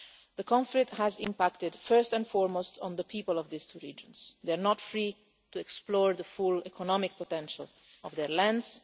The conflict has impacted first and foremost on the people of these two regions. They're not free to explore the full economic potential of their lands